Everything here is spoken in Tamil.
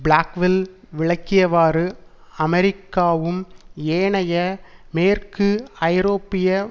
பிளாக்வில் விளக்கியவாறு அமெரிக்காவும் ஏனைய மேற்கு ஐரோப்பிய